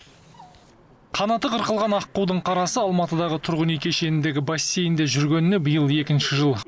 қанаты қырқылған аққудың қарасы алматыдағы тұрғын үй кешеніндегі бассейнде жүргеніне биыл екінші жыл